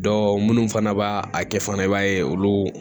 minnu fana b'a kɛ fana i b'a ye olu